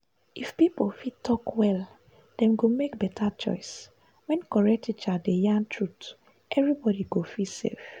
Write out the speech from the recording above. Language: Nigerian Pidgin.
if people fit talk well dem go make better choice. when correct teacher dey yarn truth everybody go feel safe.